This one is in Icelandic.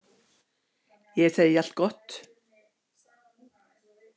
Ég segi allt gott.